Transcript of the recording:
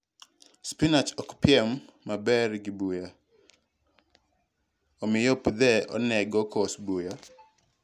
Spinach okpiem maber gi buya, omiyo puthe onego kos buya.